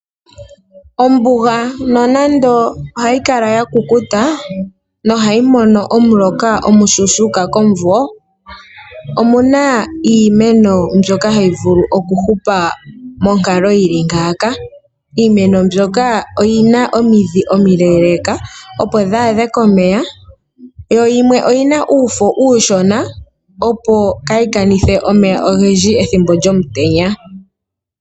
Ombuga nonando ohayi kala ya kukuta nohayi mono omuloka omushuushuka komumvo, omu na iimeno mbyoka hayi vulu okuhupa monkalo yi li ngaaka. Iimeno mbyoka oyi na omidhi omileeleeka, opo dhi adhe komeya, yo yimwe oyi na uufo uushona, opo kaayi kanithe omeya ogendji pethimbo lyomutenya.